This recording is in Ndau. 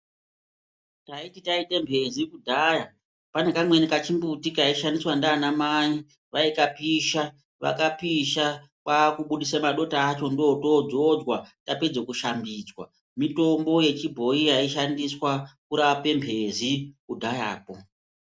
Taiti taita mphezi kudhaya pane kamweni kachimbuti kaishandiswa ndivanamai vaikapisha. Vakapisha kwakubudisa madota acho ndootodzodzwa tapedze kushambidzwa. Mitombo yechibhoyi yaishandiswa kurape mphezi kudhayako.